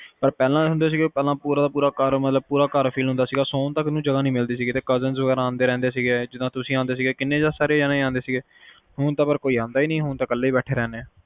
ਪਰ ਪਹਿਲੇ ਹੁੰਦਾ ਸੀ ਪਹਿਲੇ ਪੂਰਾ ਦਾ ਪੂਰਾ ਘਰ fill ਹੁੰਦਾ ਸੀਗਾ, ਸੋਨ ਤਕ ਨੂੰ ਵੀ ਜਗਾਹ ਨੀ ਸੀ ਮਿਲਦੀ, cousions ਵਗੈਰਾ ਆਂਦੇ ਰਹਿੰਦੇ ਸੀਗੇ, ਜਿੰਦ ਤੁਸੀਂ ਆਂਦੇ ਸੀਗੇ, ਜਿਦਾ ਕੀਨੇ ਜਾਣੇ ਆਂਦੇ ਸੀਗੇ ਹੁਣ ਤਾ ਕੋਈ ਆਂਦਾ ਹੀ ਨੀ, ਬਸ ਕਾਲੇ ਬੈਠੇ ਰਹਿੰਦੇ